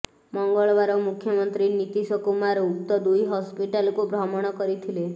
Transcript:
ମଙ୍ଗଳବାର ମୁଖ୍ୟମନ୍ତ୍ରୀ ନୀତିଶ କୁମାର ଉକ୍ତ ଦୁଇ ହସ୍ପିଟାଲକୁ ଭ୍ରମଣ କରିଥିଲେ